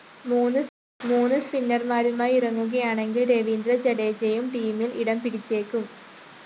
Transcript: മൂന്ന് സ്പിന്നർമാരുമായി ഇറങ്ങുകയാണെങ്കിൽ രവീന്ദ്ര ജഡേജയും ടീമിൽ ഇടംപിടിച്ചേക്കും